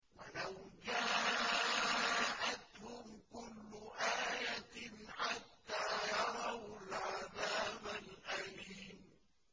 وَلَوْ جَاءَتْهُمْ كُلُّ آيَةٍ حَتَّىٰ يَرَوُا الْعَذَابَ الْأَلِيمَ